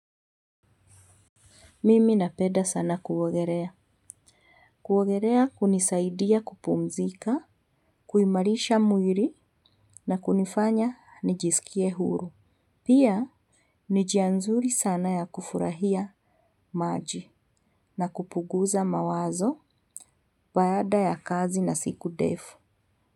Mimi napenda sana kuogelea. Kuogelea hunisaidia kupumzika, kuimarisha mwili na kunifanya nijisikie huru. Pia, ni njia nzuri sana ya kufurahia maji na kupuguza mawazo baada ya kazi na siku ndefu.